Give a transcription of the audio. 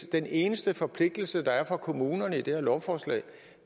den eneste forpligtelse der er for kommunerne i det her lovforslag